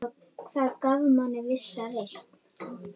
Það gaf manni vissa reisn.